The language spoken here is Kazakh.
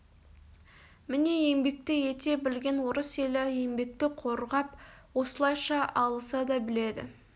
міне еңбекті ете білген орыс елі еңбекті қорғап осылайша алыса да біледі